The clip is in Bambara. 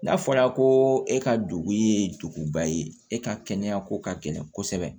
N'a fɔra ko e ka dugu ye duguba ye e ka kɛnɛya ko ka gɛlɛn kosɛbɛ